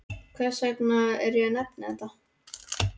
Hvers vegna er ég að nefna þetta?